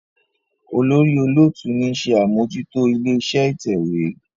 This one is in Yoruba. olórí olóòtú ní ṣe Amojuto ilé-iṣẹ́ ìtẹ̀wé.